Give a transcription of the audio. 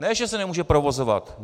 Ne že se nemůže provozovat.